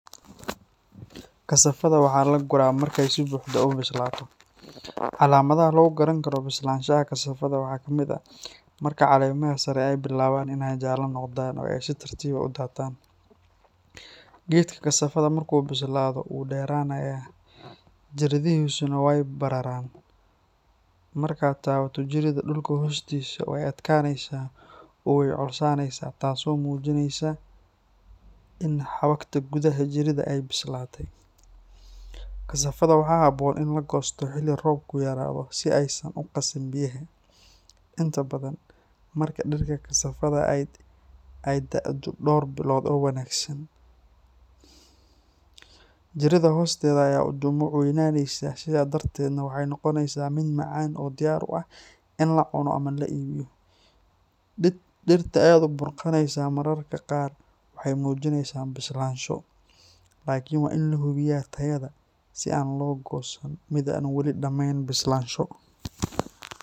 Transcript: Kassafada waxaa la guraa marka ay si buuxda u bislaato. Calaamadaha lagu garan karo bislaanshaha kassafada waxaa ka mid ah marka caleemaha sare ay bilaabaan inay jaalle noqdaan oo ay si tartiib ah u daataan. Geedka kassafada marka uu bislaado wuu dheeraynayaa, jiridihiisuna way bararaan. Markaad taabato jirida dhulka hoostiisa, way adkaanaysaa oo way culusaanaysaa, taasoo muujinaysa in xabagta gudaha jirida ay bislaatay. Kassafada waxaa habboon in la goosto xilli roobku yaraado si aysan u qasin biyaha. Inta badan marka dhirta kassafada ay da’do dhowr bilood oo wanaagsan, jirida hoosteeda ayaa u dhumuc weynaanaysa sidaa darteedna waxay noqonaysaa mid macaan oo diyaar u ah in la cuno ama la iibiyo. Dhirta aad u burqanaysa mararka qaar waxay muujisaa bislaansho, laakiin waa in la hubiyaa tayada si aan loo goosan mid aan wali dhammayn bislaansho.